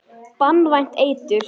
Banvænt eitur.